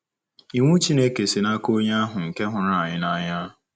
Iwu Chineke si n’aka Onye ahụ nke hụrụ anyị n’anya.